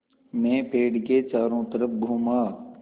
मैं पेड़ के चारों तरफ़ घूमा